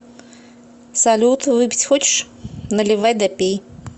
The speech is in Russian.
салют выпить хочешь наливай да пей